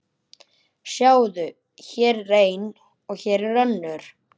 Sjáðu, hér er ein og hér er önnur.